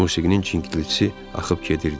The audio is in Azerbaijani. Musiqinin çingiltisi axıb gedirdi.